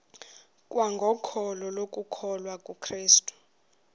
kwangokholo lokukholwa kukrestu